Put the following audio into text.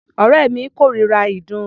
Ọ̀rẹ́ mi kórira ìdun.